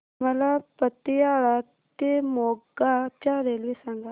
मला पतियाळा ते मोगा च्या रेल्वे सांगा